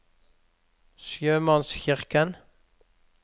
sjømannskirken